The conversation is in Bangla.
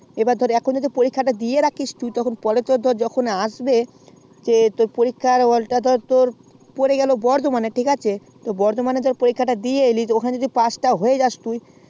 এবার ধরে এখন যদি পরীক্ষা টা দিয়ে রাখিস তো তুই যখন আসবে পরিক্ষার হল টা পড়ে গেল burdwaman এ ঠিক আছে তো burdwaman এ পরোক্ষটা দিয়ে এলি ওখানে জাতি pass হয়ে যাস